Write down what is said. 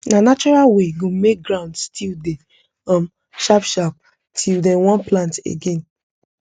na natural way go make ground still dey um sharp sharp till dey wan plant again